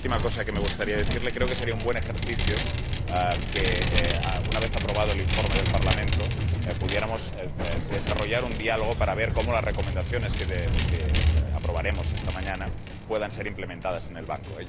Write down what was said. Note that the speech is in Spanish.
Y, por último, me gustaría decirle que creo que sería un buen ejercicio que, una vez aprobado el informe del Parlamento, pudiéramos desarrollar un diálogo para ver cómo las recomendaciones que aprobaremos esta mañana pueden ser implementadas en el Banco.